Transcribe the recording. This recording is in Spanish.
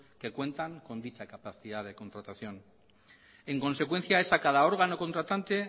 que cuentan con dicha capacidad de contratación en consecuencia es a cada órgano contratante